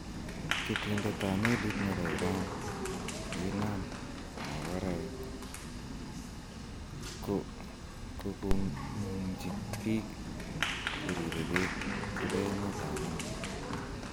Ketindet ab melit nebo Iran kinam magoraek, kogong'ung'unchi biik cheribe beek chebo emetab England